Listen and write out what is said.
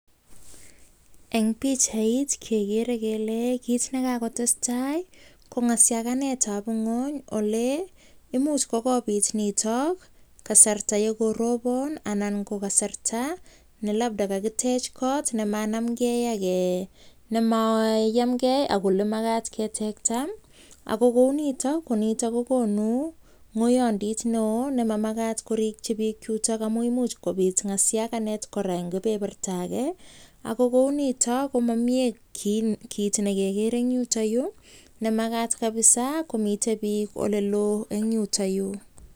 Eng' pichait, kegere kele kiit ne kekakotestai ko ng'asiganetab ng'uny ole imuch kokobit nitok kasarta yekorobon anan ko kasarta ne labda kakitech kot ne maanamge, ak um nemayamgey ak ole magat ketekta. Ago kounitok, ko nitok kokonu muyondit neoo, nemamagat korikchi biik yutok amu imuch kobit ng'asiaganet kora eng' kebeberta age. Ago kounitok, ko mamie um kiit ne kegere eng' yutoyu, ne magat kapsaa komitei biik ole loo eng' yutoyu.